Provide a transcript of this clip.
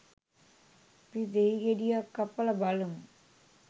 අපි දෙහි ගෙඩියක් කපලා බලමු